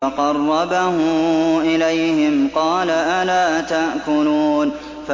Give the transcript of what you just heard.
فَقَرَّبَهُ إِلَيْهِمْ قَالَ أَلَا تَأْكُلُونَ